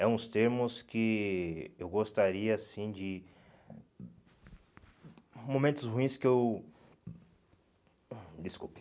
É uns termos que eu gostaria, assim, de... Momentos ruins que eu... Desculpe.